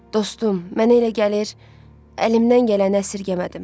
Dostum, mənə elə gəlir, əlimdən gələni əsirgəmədim.